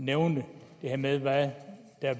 nævnte det her med hvad der er